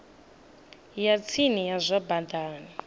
ya tsini ya zwa badani